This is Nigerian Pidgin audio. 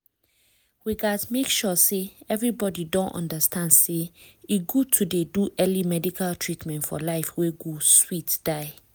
di way we dey tell people make dem go see doctor um quick quick dey make beta impact for di general health health of people for our area.